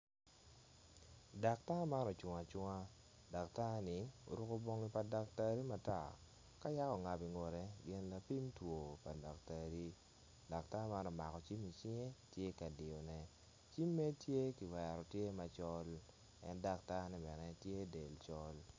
Daktar man ocung acunga datar-ni oruko bongi pa daktar matar ka yaka ongabo i ngute gin lapim two pa datari. Datar man omako cim i cinge tye ka diyone cimme tye ki wero tye macol en datarne bene tye del col.